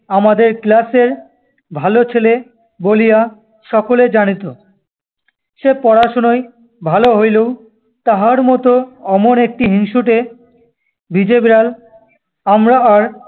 আমাদের class এর ভালো ছেলে বলিয়া সকলে জানিত। সে পড়াশুনায় ভালো হইলেও তাহার মত অমন একটি হিংসুটে ভিজেবিড়াল আমরা আর